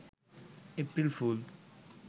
April fool